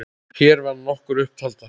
Hér verða nokkrar upp taldar